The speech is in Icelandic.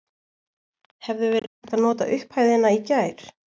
Hefði verið hægt að nota upphæðina í gær?